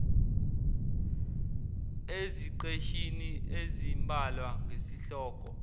eziqeshini ezimbalwa ngesihloko